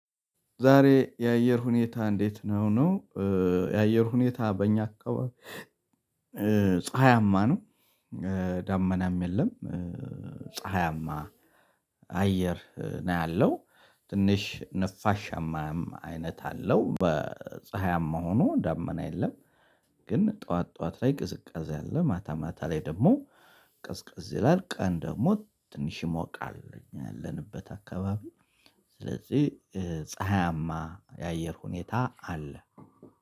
ዛሬ የአየር ሁኔታ እንዴት ነው? ነው የአየር ሁኔታ በእኛ አካባቢ ፀሀያማ ነው። ዳመናም የለም። ፀሀያማ አየር ነው ያለው ትንሽ ንፋሻማም አይነት አለው በፀሀያም መሆኑ ዳመና የለም። ግን ጠዋት ጠዋት ላይ ቅዝቃዜ አለ ማታ ማታ ላይ ደግሞ ቀዝቀዝ ይላል። ቀን ደግሞ ትንሽ ይሞቃል። ያለንበት አካባቢ ስለዚህ ፀሀያማ የአየር ሁኔታ አለ